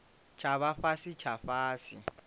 tsha vha fhasi tsha fhasi